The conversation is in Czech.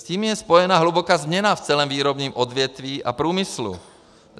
S tím je spojená hluboká změna v celém výrobním odvětví a průmyslu.